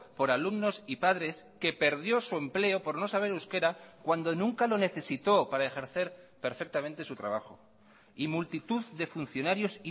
por alumnos y padres que perdió su empleo por no saber euskera cuando nunca lo necesitó para ejercer perfectamente su trabajo y multitud de funcionarios